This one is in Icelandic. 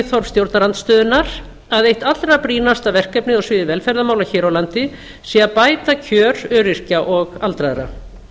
viðhorf stjórnarandstöðunnar að eitt allra brýnasta verkefnið á sviði velferðarmála hér á landi sé að bæta kjör öryrkja og aldraðra